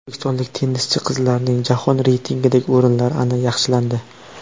O‘zbekistonlik tennischi qizlarning jahon reytingidagi o‘rinlari yaxshilandi.